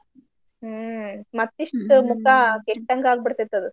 ಹ್ಮ್ ಮತ್ತಿಷ್ಟು ಮುಖ ಕೆಟ್ಟಂಗಾಗ್ಬಿಡ್ತೇತ್ ಅದು.